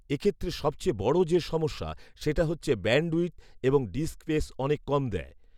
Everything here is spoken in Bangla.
এক্ষেত্রে সবচেয়ে বড় যে সমস্যা সেটা হচ্ছে ব্যান্ডউইডথ এবং ডিস্ক স্পেস অনেক কম দেয়